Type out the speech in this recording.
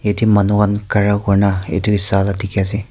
yate manu khan khara kori na etu saala dekhi ase.